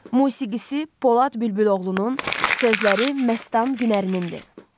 Musiqisi Polad Bülbüloğlunun, sözləri Məstan Günərinnindir.